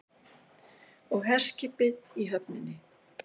Og herskipið í höfninni.